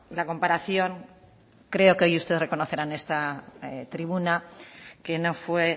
la comparación creo que hoy usted reconocerá en esta tribuna que no fue